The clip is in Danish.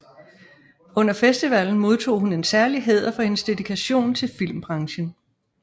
Under festivalen modtog hun en særlig hæder for hendes dedikation til filmbranchen